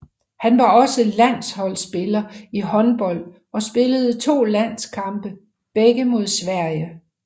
Han var også landsholdspiller i håndbold og spillede to landskampe begge mod Sverige